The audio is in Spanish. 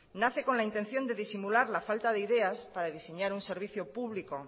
nace con la intención de disimular la falta de ideas para diseñar un servicio público